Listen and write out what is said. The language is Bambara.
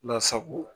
Lasago